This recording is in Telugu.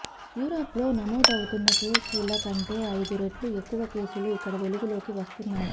యూరప్ లో నమోదవుతున్న కేసుల కంటే అయిదు రెట్లు ఎక్కువ కేసులు ఇక్కడ వెలుగులోకి వస్తున్నాయి